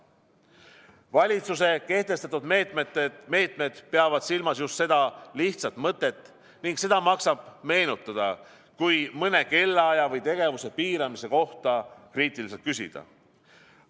Valitsuse kehtestatud meetmed peavad silmas just seda lihtsat mõtet ning seda maksab meenutada, kui mõne kellaaja või tegevuse piiramise kohta kriitiliselt küsida.